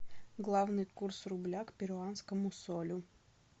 главный курс рубля к перуанскому солю